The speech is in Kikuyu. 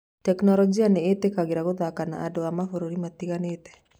Tekinoronjĩ nĩ ĩtĩkagĩria gũthaka na andũ a mabũrũri matiganĩte.